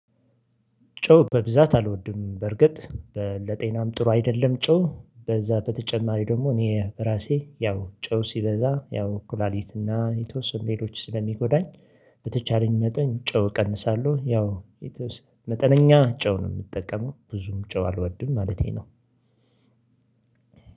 ጨው በብዛት አልወድም በርግጥ ለጤናም ጥሩ አይደለም። ጨው በዛ በተጨማሪ ደግሞ እኔ ራሴ ያው ጨው ሲበዛ ያው ኩላሊትና የተወሰኑ ሌሎች ስለሚጎዳኝ። በተቻለኝ መጠን ጨው እቀንሳለሁ ያው መጠነኛ ጨውን ምጠቀመው ብዙም ጨው አልወድም ማለቴ ነው።